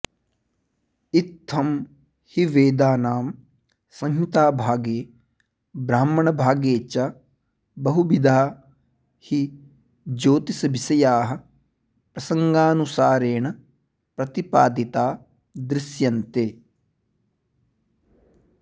इत्थं हि वेदानां संहिताभागे ब्राह्मणभागे च बहुविधा हि ज्योतिषविषयाः प्रसङ्गानुसारेण प्रतिपादिता दृश्यन्ते